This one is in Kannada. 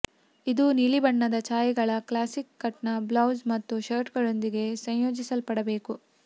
ಇದು ನೀಲಿಬಣ್ಣದ ಛಾಯೆಗಳ ಕ್ಲಾಸಿಕ್ ಕಟ್ನ ಬ್ಲೌಸ್ ಮತ್ತು ಶರ್ಟ್ಗಳೊಂದಿಗೆ ಸಂಯೋಜಿಸಲ್ಪಡಬೇಕು